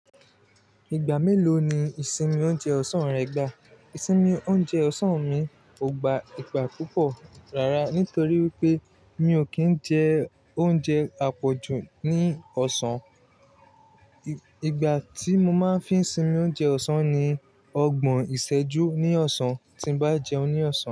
Ìgbà mélòó ni ìsinmi oúnjẹ ọ̀sán rẹ gbà? Ìsinmi oúnjẹ ọ̀sán mi kò gba ìgbà púpọ̀ rárá, nítorí wípé mi ò kí ń jẹ oúnjẹ àpọ̀jù ní ọ̀sán. Ìgbà tí mo máa ń fi ń sinmi oúnjẹ ọ̀sán ni ọgbọ̀n ìsẹ́jú ní ọ̀sán tí n bá jẹun ní ọ̀sán.